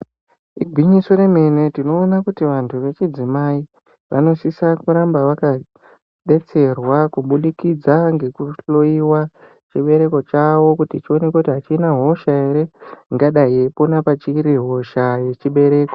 Igwinyiso remene tinoone kuti vantu vechidzimai vanosisa kuramba vakadetserwa kubudikidza ngekuhloiwa chibereko chavo kuti chionekwe achina hosha ere ingadai yeipona pachiri hosha rechibereko.